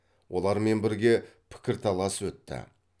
олармен бірге пікірталас өтті